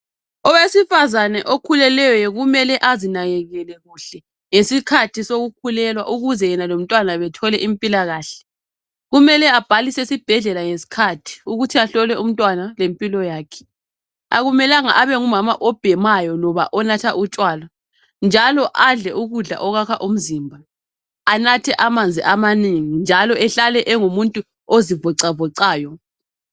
Owesifazana okhulelweyo kumele azinakekele kuhle ngesikhathi sokukhulelwa ukuze yena lomntwana bethole impilakahle .Kumele abhalise sibhedlela ukuthin ahlolwe umntwana lempilo yakhe